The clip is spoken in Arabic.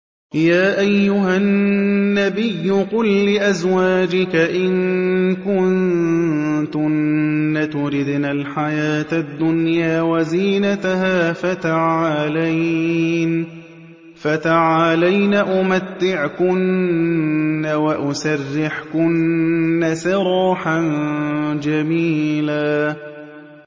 يَا أَيُّهَا النَّبِيُّ قُل لِّأَزْوَاجِكَ إِن كُنتُنَّ تُرِدْنَ الْحَيَاةَ الدُّنْيَا وَزِينَتَهَا فَتَعَالَيْنَ أُمَتِّعْكُنَّ وَأُسَرِّحْكُنَّ سَرَاحًا جَمِيلًا